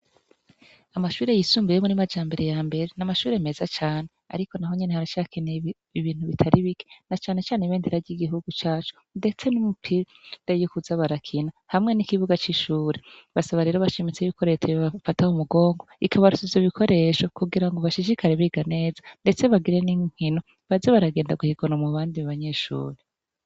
Amashure yisumbuye yo muri Majambere ya mbere n'amashure meza cane, ariko, naho nyene haracakenewe ibintu bitari bike na canecane ibendera ry'igihugu cacu, ndetse n'umupira yo kuza barakina hamwe n'ikibuga c'ishure, basaba rero bashimitse yuko reta yobafata mu mugongo ikabaronsa ivyo bikoresho kugira ngo bashishikare biga neza, ndetse bagire n'inkino baje baragenda guhiganwa mu bandi banyeshure.